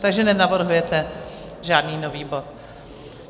Takže nenavrhujete žádný nový bod?